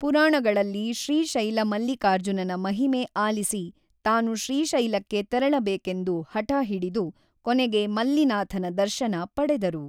ಪುರಾಣಗಳಲ್ಲಿ ಶ್ರೀಶೈಲ ಮಲ್ಲಿಕಾರ್ಜುನನ ಮಹಿಮೆ ಆಲಿಸಿ ತಾನು ಶ್ರೀಶೈಲಕ್ಕೆ ತೆರಳಬೇಕೆಂದು ಹಠಹಿಡಿದು ಕೊನೆಗೆ ಮಲ್ಲಿನಾಥನ ದರ್ಶನ ಪಡೆದರು.